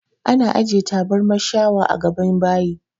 Ana ajiye taburman shawa a gaban bayi